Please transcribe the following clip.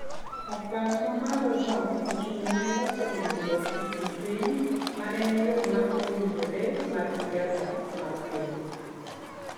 Okang' ma malono ochung�ne loso winjruok e kind piny ma en yo ma owinjore mar siasa mar piny.